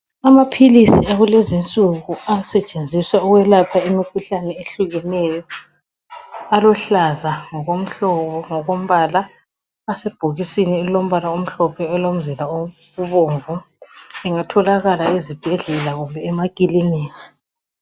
Amaphilisi akulezinsuku asetshenziswa ukwelapha imikhuhlane ehlukeneyo. Aluhlaza ngokomhlobo, ngokombala asebhokisini elilombala omhlophe olomzila obomvu. Lingatholakala ezibhedlela kumbe emakilinika.